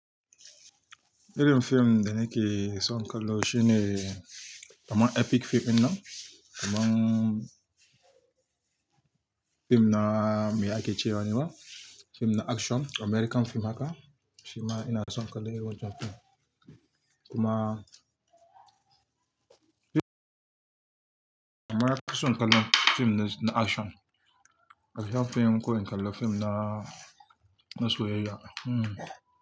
Irin fim da nake son kallo shine kamar epic fim dinna, kamar fim na me ake cewa nema, fim na action, American fim haka, shima ina son kallo irin wancan fim. Kuma kaman nafi son kallo fim na action, action fim ko in kalla fim na soyayya, hmm.